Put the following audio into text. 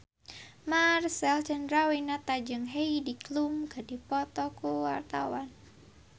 Marcel Chandrawinata jeung Heidi Klum keur dipoto ku wartawan